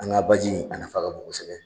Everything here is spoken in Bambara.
An ga baji in a nafa ka bon kosɛbɛ